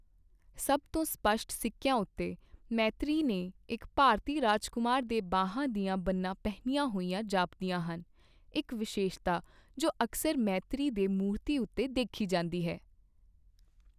ਸਭ ਤੋਂ ਸਪੱਸ਼ਟ ਸਿੱਕੀਆਂ ਉੱਤੇ, ਮੈਤ੍ਰੇਅ ਨੇ ਇੱਕ ਭਾਰਤੀ ਰਾਜਕੁਮਾਰ ਦੇ ਬਾਹਾਂ ਦੀਆਂ ਬੰਨ੍ਹਾਂ ਪਹਿਨੀਆਂ ਹੋਈਆਂ ਜਾਪਦੀਆਂ ਹਨ, ਇੱਕ ਵਿਸ਼ੇਸ਼ਤਾ ਜੋ ਅਕਸਰ ਮੈਤ੍ਰੇਅ ਦੀ ਮੂਰਤੀ ਉੱਤੇ ਦੇਖੀ ਜਾਂਦੀ ਹੈ।